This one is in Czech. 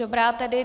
Dobrá tedy.